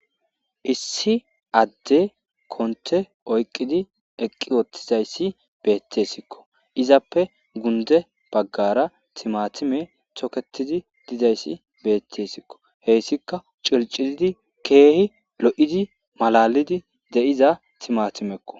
Issi addey kontte oykidi eqqi oothizaysi beetesiko. Izappe gunde baggara timatimey toketidaysi beetesiko. Hessika circiridi keehi lo'idi malalidi de'iya timatimeko.